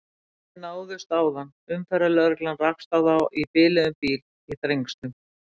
Mennirnir náðust áðan, umferðarlögreglan rakst á þá í biluðum bíl í Þrengslunum.